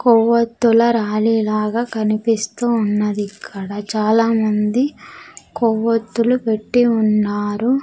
కొవ్వతులు రాలి లాగా కనిపిస్తూ ఉన్నది ఇక్కడ చాలా మంది కొవ్వొత్తులు పెట్టీ ఉన్నారు.